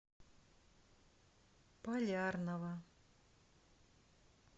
полярного